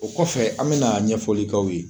O kɔfɛ an bɛna ɲɛfɔli k'aw ye.